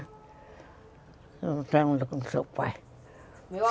Eu não tenho nada com seu pai.